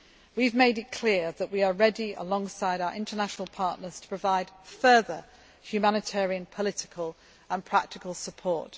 We have made it clear that we are ready, alongside our international partners, to provide further humanitarian, political and practical